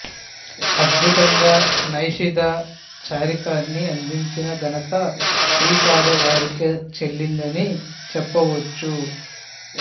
అద్భుతంగా నైషద చరితాన్ని అందించిన ఘనత శ్రీపాద వారికే చెల్లిందని చెప్పవచ్చు